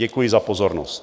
Děkuji za pozornost.